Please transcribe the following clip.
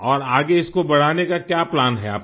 और आगे इसको बढ़ाने का क्या प्लान है आपका